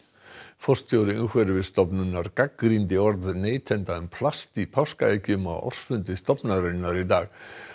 forstjóri Umhverfisstofnunar gagnrýndi orð neytanda um plast í páskaeggjum á ársfundi stofnunarinnar í dag